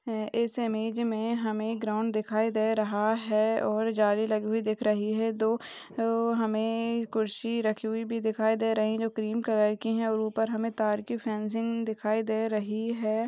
इस इमेज मै हमे एक ग्राउन्ड दिखाई दे रहा है और जाली लगी हुई दिख रही है दो हमे कुर्सी रखे हुआ भी दिखाई दे रही है जो क्रीम कलर की है और ऊपर हमे तार की फेन्सिंग दिखाई दे रही है।